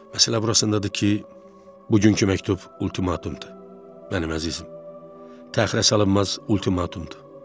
Məsələ burasındadır ki, bugünkü məktub ultimatumdur, mənim əzizim, təxirəsalınmaz ultimatumdur.